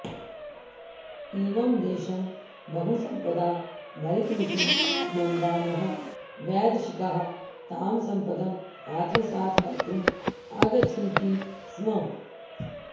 इमं देशं बहुसम्पदा भरितमिति मन्वानाः वैदेशिकाः तां सम्पदम् आत्मसात् कर्तुम् आगच्छन्ति स्म